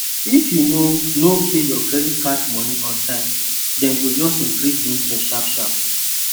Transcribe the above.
if you no no pay your credit card money on time dem go just increase the interest sharp sharp